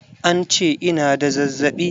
An ce ina da zazzaɓi.